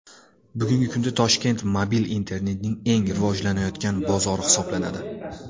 Bugungi kunda Toshkent mobil internetning eng rivojlanayotgan bozori hisoblanadi.